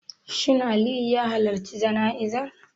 Shin Aliyu ya halarci jana'izar?